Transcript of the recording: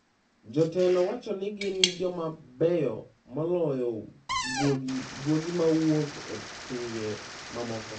Jotelo wacho ni gin joma beyo moloyo guogi ma wuok e pinje ma moko.